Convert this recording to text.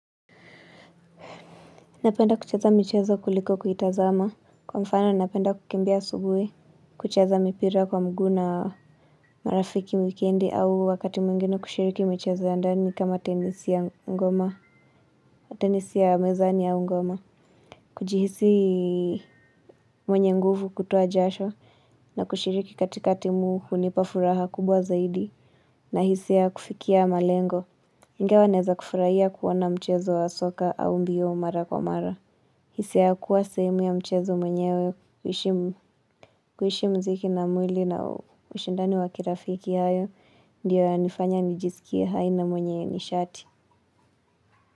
Napenda kucheza mchezo kuliko kuitazama. Kwa mfano napenda kukimbia asubuhi. Kuchaza mipira kwa mguu na marafiki wikendi au wakati mwingine kushiriki michezo ya ndani kama tenisi ya mezani au ngoma. Kujihisi mwenye nguvu kutoa jasho. Na kushiriki katika timu hunipa furaha kubwa zaidi. Na hisia ya kufikia malengo. Ingawa naeza kufurahia kuona mchezo wa soka au mbio mara kwa mara. Hisia ya kuwa sehemu ya mchezo mwenyewe kuishi mziki na mwili na ushindani wakirafiki hayo. Ndiyo ya nifanya nijisikia hai na mwenye nishati.